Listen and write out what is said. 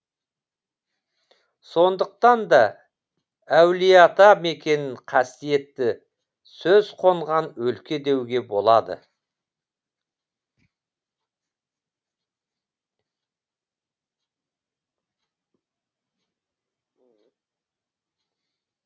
сондықтан да әулиеата мекенін қасиетті сөз қонған өлке деуге болады